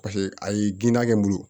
Paseke ayi ginan kɛ n bolo